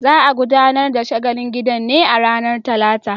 Za a gudanar da shagalin gidan ne a ranar Talata.